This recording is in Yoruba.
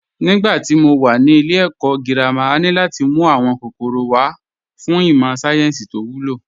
Nígbà tí mo wà ní ilé ẹ̀kọ́ girama, a ní láti mú àwọn kòkòrò wa wá fún ìmọ̀ sáyẹ́ǹsì tó wúlò